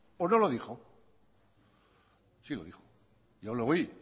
o no lo dijo sí lo dijo yo lo oí